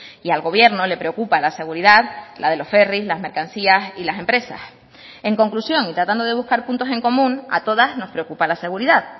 y al gobierno le preocupa la seguridad la de los ferris las mercancías y las empresas en conclusión y tratando de buscar puntos en común a todas nos preocupa la seguridad